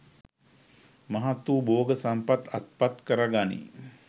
මහත් වූ භෝග සම්පත් අත්පත් කරගනියි.